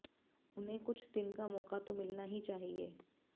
उन्हें कुछ दिन का मौका तो मिलना ही चाहिए